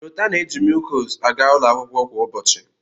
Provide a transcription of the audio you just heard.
Lọta na-eji mịlkoos aga ụlọ akwụkwọ kwa ụbọchị.